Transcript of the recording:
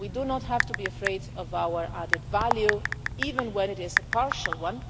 We do not have to be afraid of our added value, even when it is a partial one.